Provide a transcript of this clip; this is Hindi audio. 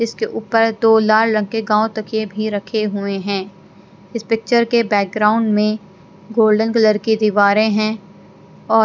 इसके ऊपर दो लाल रंग के गांव तकिए भी रखे हुए हैं इस पिक्चर के बैकग्राउंड में गोल्डन कलर की दीवारें हैं और--